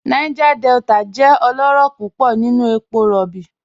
Niger Delta jẹ ọlọrọ púpọ̀ nínu èpò róbí.